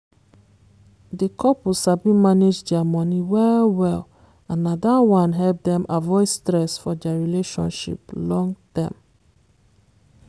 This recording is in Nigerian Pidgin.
di couple sabi manage dia money well-well and na dat one help dem avoid stress for dia relationship long term